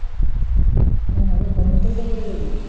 হ্যাঁ তো সমস্যায় তো পরে যাবি।